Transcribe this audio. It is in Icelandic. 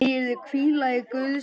Megirðu hvíla í Guðs friði.